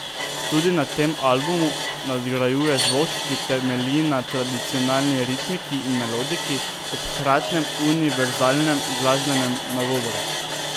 Tudi na tem albumu nadgrajuje zvok, ki temelji na tradicionalni ritmiki in melodiki ob hkratnem univerzalnem glasbenem nagovoru.